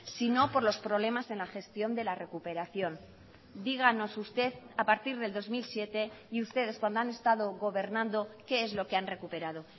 sino por los problemas en la gestión de la recuperación díganos usted a partir del dos mil siete y ustedes cuando han estado gobernando qué es lo que han recuperado